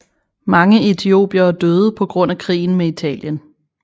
Mange etiopiere døde på grund af krigen med Italien